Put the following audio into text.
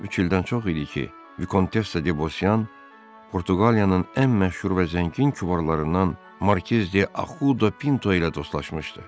Üç ildən çox idi ki, Vikontes Debosyan Portuqaliyanın ən məşhur və zəngin kübarlarından Markiz de Ahuda Pinto ilə dostlaşmışdı.